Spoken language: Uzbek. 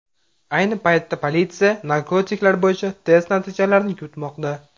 Ayni paytda politsiya narkotiklar bo‘yicha test natijalarini kutmoqda.